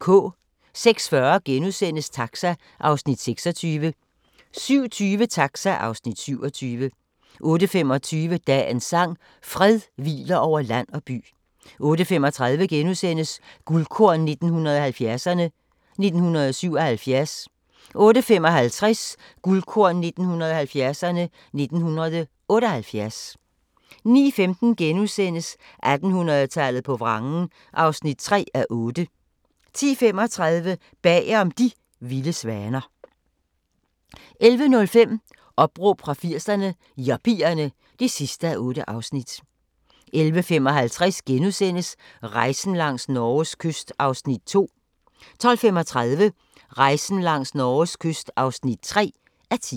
06:40: Taxa (Afs. 26)* 07:20: Taxa (Afs. 27) 08:25: Dagens sang: Fred hviler over land og by 08:35: Guldkorn 1970'erne: 1977 * 08:55: Guldkorn 1970'erne: 1978 09:15: 1800-tallet på vrangen (3:8)* 10:35: Bagom De vilde svaner 11:05: Opråb fra 80'erne – Yuppierne (8:8) 11:55: Rejsen langs Norges kyst (2:10)* 12:35: Rejsen langs Norges kyst (3:10)